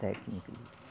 Técnico.